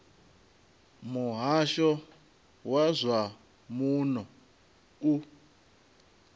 muhasho wa zwa muno u